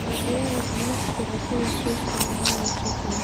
Dalagyada ganacsiga sida suufka ayaa leh suuq weyn.